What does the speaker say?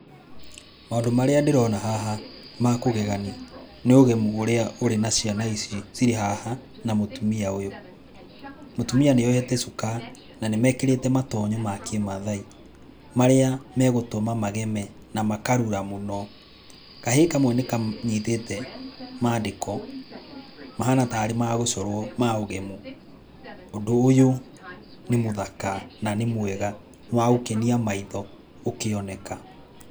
Maũndũ marĩa ndĩrona haha makũgegani nĩ ũgemu ũrĩa ũrĩ na ciana ici cirĩ haha na mũtumia ũyũ, mũtumia nĩ ohete cuka na nĩ mekĩrĩte matonyo ma kĩmathai marĩa megũtũma mageme na makarura mũno, kahĩ kamwe n ĩkanyitĩte mandĩko mahana tarĩ ma gũcorwo ma ũgemu, ũndũ ũyũ nĩ mũthaka na nĩ mwega nĩ wa gũkenia maitho ũkĩoneka.